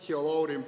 Hea Lauri!